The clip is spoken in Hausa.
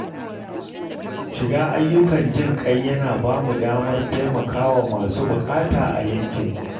Shiga ayyukan jin ƙai yana ba mu damar taimaka wa masu buƙata a yankinmu.